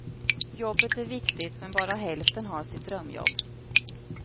Jobbet är viktigt, men bara hälften har sitt drömjobb.